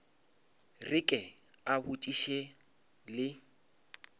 re ke a botšiša le